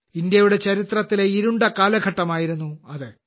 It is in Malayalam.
ഇന്ത്യയുടെ ചരിത്രത്തിലെ ഇരുണ്ട കാലഘട്ടമായിരുന്നു അത്